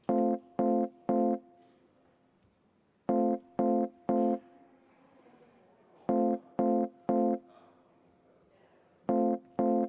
Vastuvõtmise poolt hääletas 92 Riigikogu liiget, vastuolijaid ja erapooletuid ei olnud.